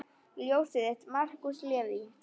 Ljósið þitt, Markús Leví.